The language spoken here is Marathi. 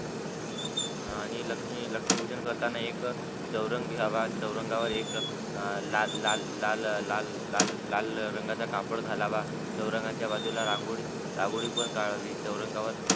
हा आणि लक्ष्मी लक्ष्मी पूजन करताना एक चवरंग घ्यावा चवरंगवेर एक लाल लाल लाल लाल लाललाल रंगाचा कापड घालावा चवरंगाचा बाजूला रांगोळी घालावी रांगोळी पण काढावी चवरंगवर